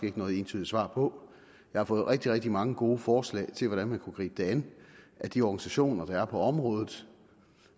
ikke noget entydigt svar på jeg har fået rigtig rigtig mange gode forslag til hvordan man kunne gribe det an af de organisationer der er på området